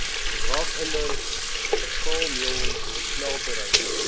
raffinaderye staalmeulens smelterye